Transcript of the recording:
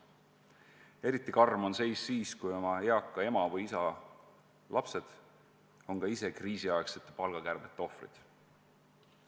Eriti karm on seis siis, kui eaka ema või isa lapsed on ka ise kriisiaegsete palgakärbete ohvriks langenud.